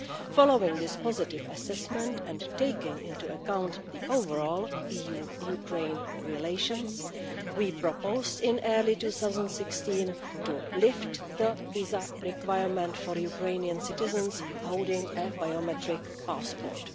Following this positive assessment and taking into account the overall EU Ukraine relations, we proposed in early 2016 to lift the visa requirement for Ukrainian citizens holding a biometric passport.